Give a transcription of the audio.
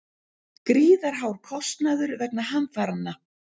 Gríðarhár kostnaður vegna hamfaranna